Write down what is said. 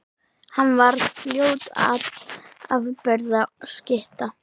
Hann varð fljótt afburða skytta.